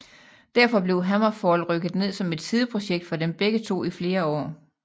Derfor blev HammerFall rykket ned som et sideprojekt for dem begge to i flere år